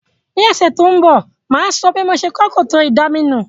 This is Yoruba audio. Ní òsẹ̀ to n bò, máa so bí mo se kó kòtò ìdaminù